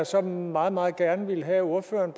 så meget meget gerne have at ordføreren